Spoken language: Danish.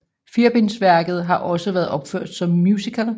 Firebindsværket har også været opført som musical